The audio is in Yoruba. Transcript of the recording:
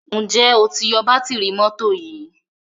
njé o tí yó Bátìrì mọ́tò yí?